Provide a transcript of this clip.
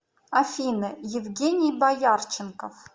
афина евгений боярченков